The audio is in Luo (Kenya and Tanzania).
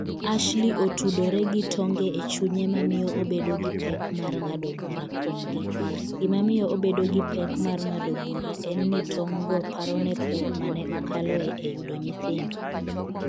Ashley otudore gi tonge e chunye mamiyo obedo gi pek mar ng’ado bura kuomgi. Gimamiyo obedo gi pek mar ng’ado bura en ni tong'go parone pek ma ne okaloe e yudo nyithindo.